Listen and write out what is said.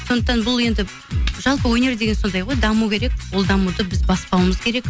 сондықтан бұл енді жалпы өнер деген сондай ғой даму керек ол дамуды біз баспауымыз керек